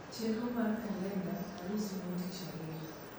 chenro markalenda arus mon tich ariyo